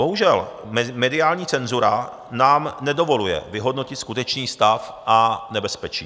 Bohužel, mediální cenzura nám nedovoluje vyhodnotit skutečný stav a nebezpečí.